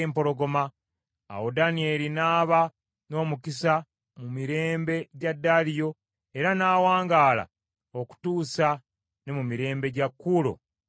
Awo Danyeri n’aba n’omukisa mu mirembe gya Daliyo era n’awangaala okutuusa ne mu mirembe gya Kuulo Omuperuzi.